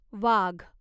वाघ